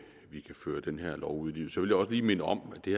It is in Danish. føre den her lov ud i livet så vil jeg også lige minde om at det